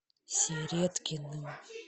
середкиным